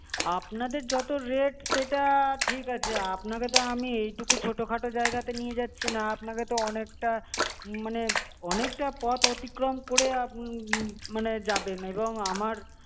আপনাদের যত rate সেটা ঠিক আছে আপনাকে তো আমি এইটুকু ছোটোখাটো জায়গাতে নিয়ে যাচ্ছি না আপনাকে তো অনেকটা মানে অনেকটা পথ অতিক্রম করে আপ~ মম~ মানে যাবেন এবং আমার